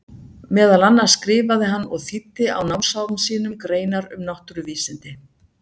Meðal annars skrifaði hann og þýddi á námsárum sínum greinar um náttúruvísindi.